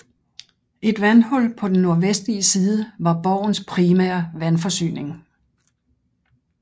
Et vandhul på den nordvestlige side var borgens primære vandforsyning